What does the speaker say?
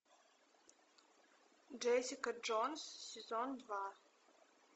джессика джонс сезон два